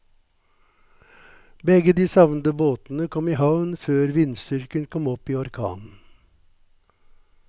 Begge de savnede båtene kom i havn før vindstyrken kom opp i orkan.